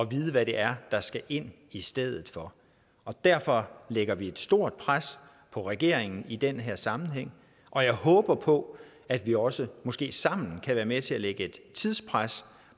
vide hvad det er der skal ind i stedet for og derfor lægger vi et stort pres på regeringen i den her sammenhæng og jeg håber på at vi også måske sammen kan være med til at lægge et tidspres